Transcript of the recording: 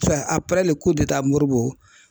a pɛrɛli ko de taa moribo.